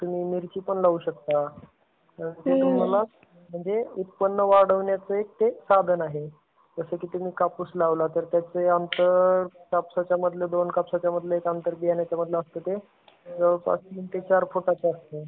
तुम्ही मिरची पण लावू शकता. नंतर तुम्हाला, म्हणजे उत्पन्न वाढवण्याचे हे साधन आहे. जसा कि तुम्ही कापूस लावला तर त्याचा अंतर, कापसाचा मधला, दोन कापसाचा मधला अंतर, बियाणाच्या मध्ये अंतर असता ते जवळपास तीन ते चार फुटाचा असता ते.